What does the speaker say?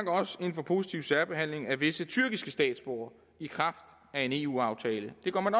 også ind for positiv særbehandling af visse tyrkiske statsborgere i kraft af en eu aftale det går man